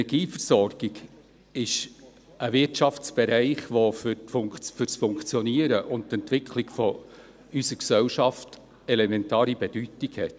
Die Energieversorgung ist ein Wirtschaftsbereich, der für das Funktionieren und für die Entwicklung unserer Gesellschaft eine elementare Bedeutung hat.